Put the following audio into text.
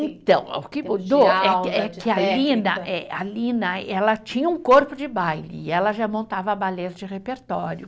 Então, o que mudou é que eh, a Lina, ela tinha um corpo de baile, e ela já montava balés de repertório.